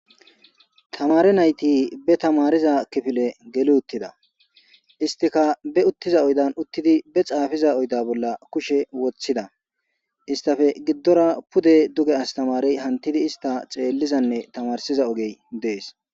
tamari nayti be tamariza kifile geli uttida istika be uttiza oydan uttidi be xaafiza oyda bolla kushe woththida istafe giddora pude duge astamarey hantidi ista xeellizanne tamarsiza ogey dees